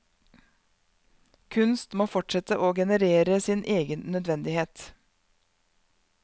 Kunst må fortsette å generere sin egen nødvendighet.